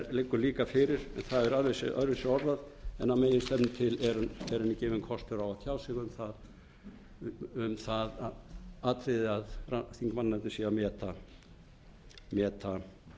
liggur líka fyrir en það er aðeins öðruvísi orðað en að meginstefnu til er henni gefinn kostur á að tjá sig um það atriði að þingmannanefndin sé að